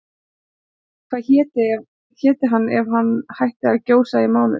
Hvað héti hann ef hann hætti að gjósa í mánuð?